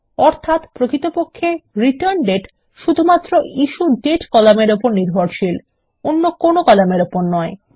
অর্থাত প্রকৃতপক্ষে রিটার্ন্ডেট শুধুমাত্র ইস্যুডেট কলাম এর নির্ভরশীল অন্য কোন কলামের উপর নয়